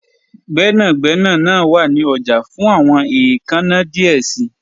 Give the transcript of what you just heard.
Gbẹnagbẹna naa wa ni ọja fun awọn eekanna diẹ sii